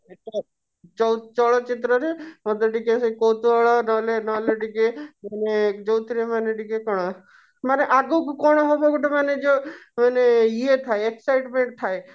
ଯଉ ଚଳଚିତ୍ର ରେ ମୋତେ ଟିକେ ସେ କୌତୁହଳ ନହେଲେ ନହେଲେ ଟିକେ ମାନେ ଯଉଥିରେ ମାନେ ଟିକେ କଣ ମାନେ ଆଗକୁ କଣ ହବ ଗୋଟେ ମାନେ ଯଉ ମାନେ ଇଏ ଥାଏ excitement ଥାଏ